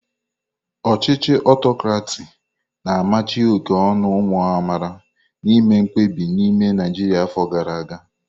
Ochichi autokraki na amachi oke onu umu amaala na ime mkpebi n'ime Naijria afọ gara aga.